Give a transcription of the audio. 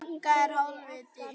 Menn og fílar